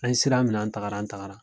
An sira minɛ an tagara an tagara